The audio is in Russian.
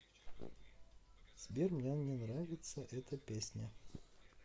сбер мне не нравится эта песня